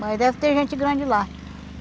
Mas deve ter gente grande lá.